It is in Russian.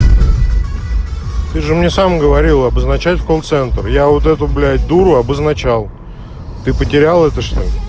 ты же мне сам говорил обозначает колл-центр я вот эту блядь дуру обозначал ты потерял это что ли